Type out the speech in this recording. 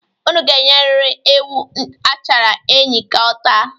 Unu ga-enyeriri ewu achara enyi ka ọ taa.